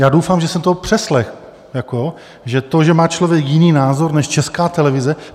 Já doufám, že jsem to přeslechl, že to, že má člověk jiný názor než Česká televize...